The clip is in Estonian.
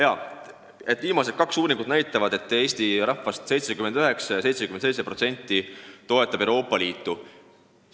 Jaa, viimased kaks uuringut näitavad, et Eesti rahvast 79% või 77% toetab Euroopa Liitu.